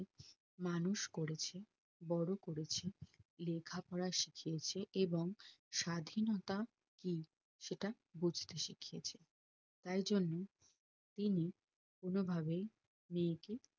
মানুষ করেছে বড়ো করেছে লেখা পড়া শিখিয়েছে এবং স্বাধীনতা কি সেটা বুজতে শিখিয়েছে তাই জন্যে তিনি কোনো ভাবেই মেয়েকে